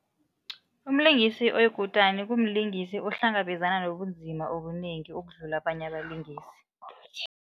Umlingisi oyikutani umlingisi ohlangabezana nobunzima obunengi ukudlula abanye abalingisi.